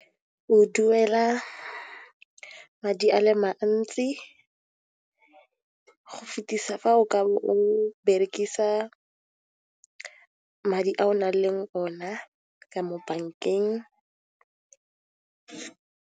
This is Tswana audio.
O duela madi a le mantsi go fetisa fa o ka bo o berekisa madi a o nang le ona ka mo bankeng.